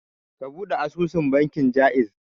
Ka ɓude asusun banki na Ja'iz.